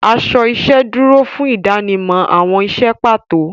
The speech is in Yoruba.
Aṣọ iṣẹ́ dúró fún ìdánimọ̀ àwọn iṣẹ́ pàtó.